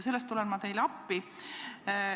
Selles tulen ma teile appi.